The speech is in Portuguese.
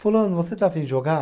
Fulano, você está a fim de jogar?